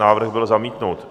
Návrh byl zamítnut.